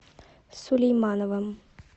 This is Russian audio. сулеймановым